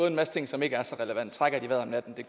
en masse ting som ikke er så relevante